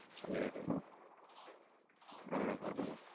சேரி அஹ்